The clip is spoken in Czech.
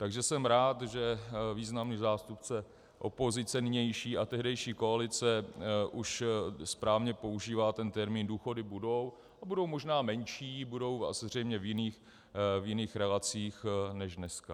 Takže jsem rád, že významný zástupce opozice nynější a tehdejší koalice už správně používá ten termín "důchody budou" a budou možná menší, budou asi zřejmě v jiných relacích než dneska.